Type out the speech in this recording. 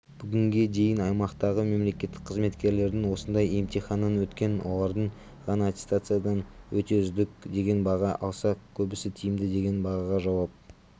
бүгінге дейін аймақтағы мемлекеттік қызметкерлердің осындай емтиханнан өткен олардың ғана аттестациядан өте үздік деген баға алса көбісі тиімді деген бағаға жауап